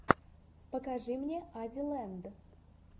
покажи мне аззи ленд